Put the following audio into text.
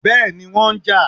Béèni, wọ́n n ja